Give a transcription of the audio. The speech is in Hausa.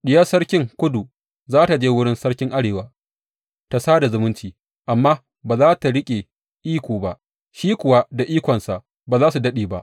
Diyar sarkin Kudu za tă je wurin sarkin Arewa ta sada zumunci, amma ba za tă riƙe iko ba, shi kuwa da ikonsa ba za su daɗe ba.